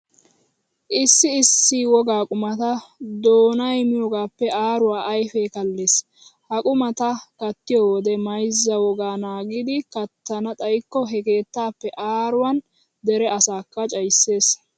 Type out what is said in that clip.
Issi issi wogaa qumata doonay miyogaappe aaruwa ayfee kallees. Ha qumata kattiyo wode mayzza wogaa naagidi kattana xayikko he keettaappe aaruwan dere asakka cayissees.